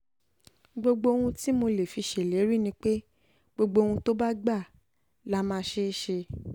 gbogbo ohun tí mo lè fi um ṣèlérí ni pé gbogbo ohun tó bá gbà la um máa ṣe ṣe